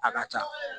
A ka ca